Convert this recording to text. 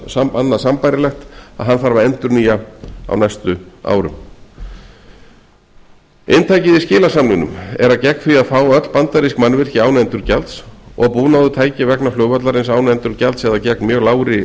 tækjum þarf að endurnýja á næstu árum inntakið í skilasamningnum er að gegn því að fá öll bandarísk mannvirki án endurgjalds og búnað og tæki vegna flugvallarins án endurgjalds eða gegn mjög lágri